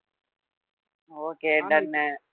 okay done உ